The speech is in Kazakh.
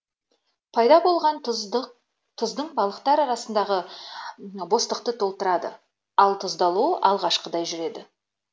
пайда болған тұздың балықтар арасындағы бостықты толтырады ал тұздалу алғашқыдай жүреді